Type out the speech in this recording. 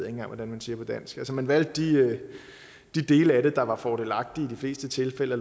engang hvordan man siger på dansk altså at man valgte de dele af det der var fordelagtige i de fleste tilfælde og